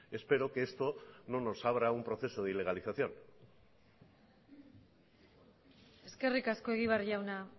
espero que esto no nos abra un proceso de ilegalización eskerrik asko egibar jauna